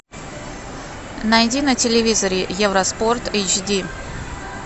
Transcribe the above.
найди на телевизоре евроспорт эйч ди